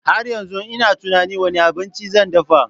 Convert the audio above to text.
Har yanzu ina tunanin wane abinci zan dafa.